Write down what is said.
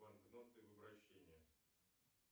банкноты в обращении